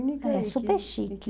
era super chique